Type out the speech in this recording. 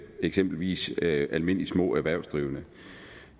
eksempelvis almindelige små erhvervsdrivende